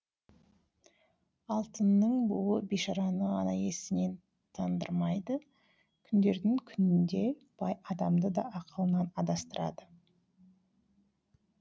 алтынның буы бишараны ғана есінен тандырмайды күндердің күнінде бай адамды да ақылынан адастырады